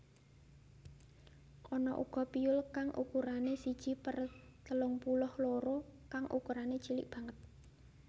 Ana uga piyul kang ukurané siji per telung puluh loro kang ukurané cilik banget